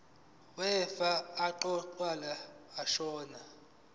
wefa owaqokwa ashona